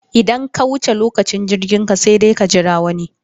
Idan ka wuce lokacin jirginka sai dai ka jira wani.